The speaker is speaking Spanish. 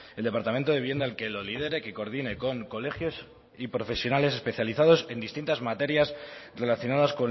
el departamento de vivienda el que lo lidere que coordine con colegios y profesionales especializados en distintas materias relacionadas